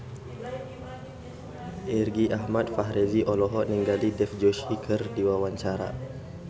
Irgi Ahmad Fahrezi olohok ningali Dev Joshi keur diwawancara